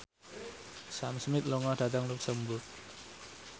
Sam Smith lunga dhateng luxemburg